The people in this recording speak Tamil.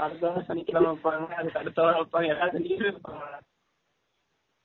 அடுத்த வாரம் சனிகிலமை வைபங்க அதுக்கு அடுத்த வாரம் வைபாங்க எல்லா வாரமும் வைய்பாங்க டா